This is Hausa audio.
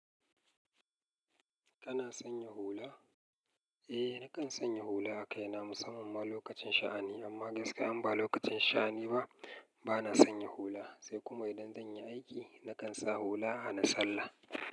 Kana sanya hula? Eh, nakan sanya hula a kai na musamman lokacin sha'ani, amma gaskiya in ba lokacin sha'ani ba, ba na sanya hula. Sai kuma idan zan yi aiki, nakan sa hula hana sallah.